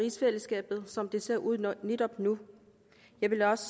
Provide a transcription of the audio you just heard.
rigsfællesskabet som det ser ud netop nu jeg vil også